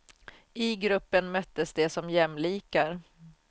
I gruppen möttes de som jämlikar.